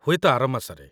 ହୁଏତ ଆର ମାସରେ ।